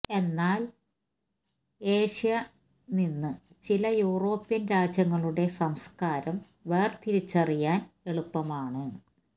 എന്നാൽ ഏഷ്യ നിന്ന് ചില യൂറോപ്യൻ രാജ്യങ്ങളുടെ സംസ്കാരം വേർതിരിച്ചറിയാൻ എളുപ്പമാണ്